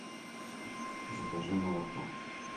закажи молоко